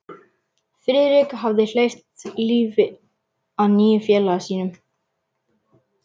Friðrik hafði hleypt lífi að nýju í félaga sinn.